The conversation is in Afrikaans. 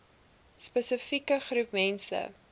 spesifieke groep mense